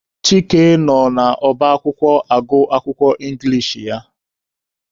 Chike nọ n'ọba akwụkwọ agụ akwụkwọ Ingilish ya.